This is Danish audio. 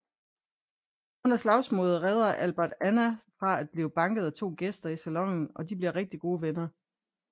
Under slagsmålet redder Albert Anna fra at blive banket af to gæster i salonen og de bliver gode venner